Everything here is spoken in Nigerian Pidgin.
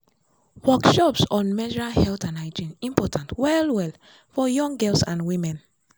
workshops on menstrual health and hygiene important well-well for young girls and women.